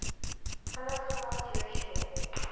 halakha jewish law